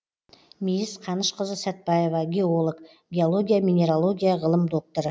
мейіз қанышқызы сәтбаева геолог геология минералогия ғылым докторы